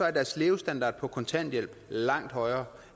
er deres levestandard på kontanthjælp langt højere